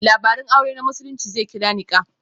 Labarun aure na Musulunci zai kira 'Nikah'.